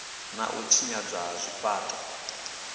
na u tshinyadzwa ha zwifhaṱo